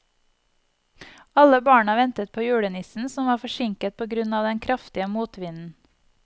Alle barna ventet på julenissen, som var forsinket på grunn av den kraftige motvinden.